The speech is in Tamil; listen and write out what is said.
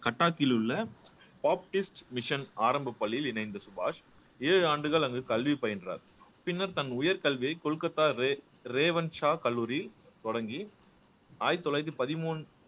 கட்டாக்கில் உள்ள டாப்பிஸ்ட் மிஷன் ஆரம்பப் பள்ளியில் இணைந்த சுபாஷ் ஏழு ஆண்டுகள் அங்கு கல்வி பயின்றார் பின்னர் தன் உயர்கல்வியை கொல்கத்தாவே ரேவன் ஷா கல்லூரி தொடங்கி ஆயிரத்தி தொள்ளாயிரத்தி பதிமூணு